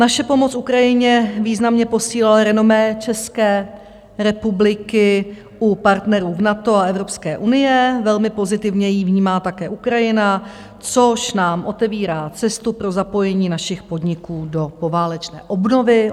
Naše pomoc Ukrajině významně posílila renomé České republiky u partnerů v NATO a Evropské unie, velmi pozitivně ji vnímá také Ukrajina, což nám otevírá cestu pro zapojení našich podniků do poválečné obnovy.